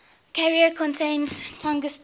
carrier contains tungsten